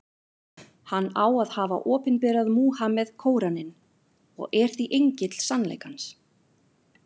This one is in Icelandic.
Hann á að hafa opinberað Múhameð Kóraninn, og er því engill sannleikans.